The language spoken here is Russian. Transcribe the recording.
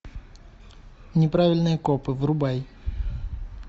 неправильные копы врубай